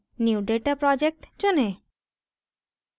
new data project चुनें